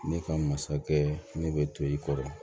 Ne ka masakɛ ne bɛ to i kɔrɔ